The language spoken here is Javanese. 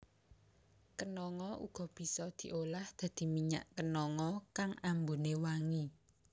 Kenanga uga bisa diolah dadi minyak kenanga kang ambuné wangi